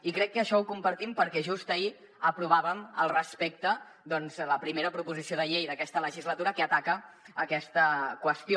i crec que això ho compartim perquè just ahir aprovàvem al respecte doncs la primera proposició de llei d’aquesta legislatura que ataca aquesta qüestió